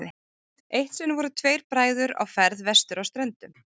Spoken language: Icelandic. Eitt sinn voru tveir bræður á ferð vestur á Ströndum.